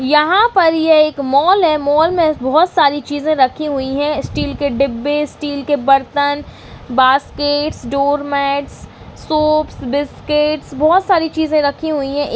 यहाँ पर ये एक मॉल है मॉल में बहौत सारी चीजें रखी हुई हैं स्टील के डिब्बे स्टील के बर्तन बास्केट डोरमेट्स सोप्स बिस्किट्स बहौत सारी चीजें रखी हुई हैं।